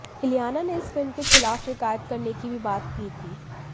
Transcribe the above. इलियाना ने इस फिल्म के खिलाफ़ शिकायत करने की भी बात की थी